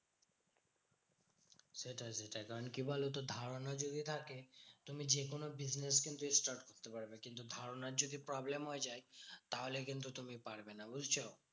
সেটাই সেটাই কারণ কি বলতো? ধারণা যদি থাকে তুমি যেকোনো business কিন্তু start করতে পারবে। কিন্তু ধরণের যদি problem হয়ে যায়, তাহলে তুমি কিন্তু পারবে না বুঝছো?